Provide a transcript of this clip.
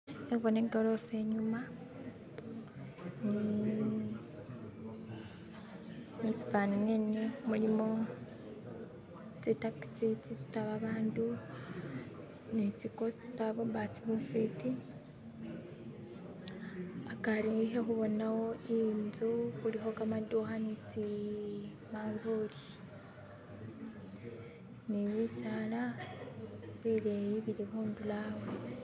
Khembona ikorofa inyuma, uh musifani mwene mulimo tsi taxi tsisuta babandu ni tsi coaster, bu basi bufwiti, akari khakhubonawo inzu khulikho kamadukha ne manzuri ni bisaala bileyi bili khundulo awo.